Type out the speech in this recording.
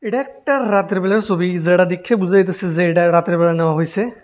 এটা একটা রাতের বেলার ছবি যেটা দেইখে বুঝা যাইতেসে যে এইটা রাতের বেলা নেওয়া হইসে।